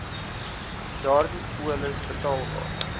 daardie polis betaalbaar